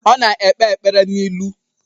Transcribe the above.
Ọ na-ekpe ekpere n'ilu